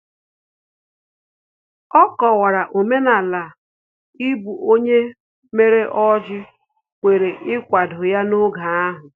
Ọ kọwara omenala ibu ọnụ mere o ji kwere ikwado ya n'oge ahu